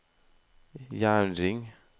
jernring